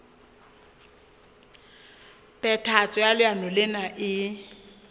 phethahatso ya leano lena e